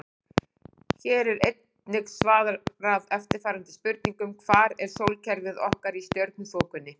Hér er einnig svarað eftirfarandi spurningum: Hvar er sólkerfið okkar í stjörnuþokunni?